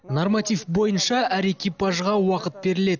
норматив бойынша әр экипажға уақыт беріледі